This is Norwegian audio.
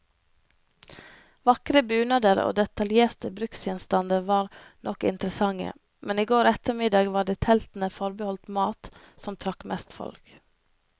Vakre bunader og detaljerte bruksgjenstander var nok interessante, men i går ettermiddag var det teltene forbeholdt mat, som trakk mest folk.